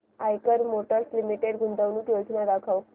Eicher Motors Limited गुंतवणूक योजना दाखव